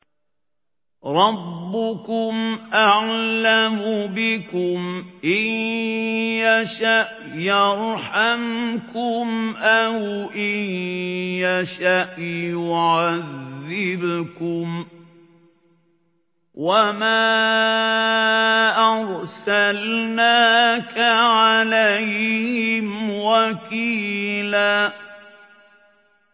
رَّبُّكُمْ أَعْلَمُ بِكُمْ ۖ إِن يَشَأْ يَرْحَمْكُمْ أَوْ إِن يَشَأْ يُعَذِّبْكُمْ ۚ وَمَا أَرْسَلْنَاكَ عَلَيْهِمْ وَكِيلًا